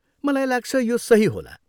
मलाई लाग्छ, यो सही होला।